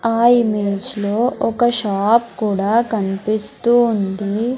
ఆ ఇమేజ్ లో ఒక షాప్ కూడా కనిపిస్తూ ఉంది.